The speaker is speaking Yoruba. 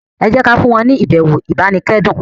ejẹ kí a fún wọn ni ibẹwò ibanikẹdun